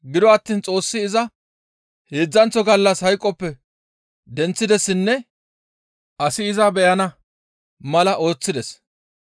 Gido attiin Xoossi iza heedzdzanththo gallas hayqoppe denththidessinne asi iza beyana mala ooththides.